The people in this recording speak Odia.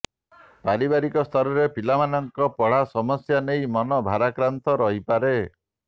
ପାରିବାରିକ ସ୍ତରରେ ପିଲାମାନଙ୍କ ପଢା ସମସ୍ୟା ନେଇ ମନ ଭାରାକ୍ରାନ୍ତ ରହିପାରେ